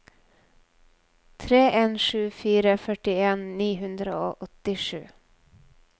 tre en sju fire førtien ni hundre og åttisju